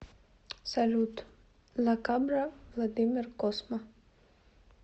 салют ла кабра владимир косма